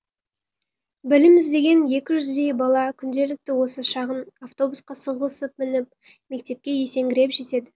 білім іздеген екі жүздей бала күнделікті осы шағын автобусқа сығылысып мініп мектепке есеңгіреп жетеді